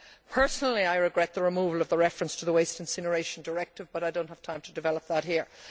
Personally, I regret the removal of the reference to the Waste Incineration Directive, but I do not have time to expand on that here.